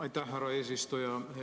Aitäh, härra eesistuja!